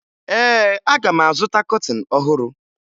Ee, aga m azụta kọtịn ọhụrụ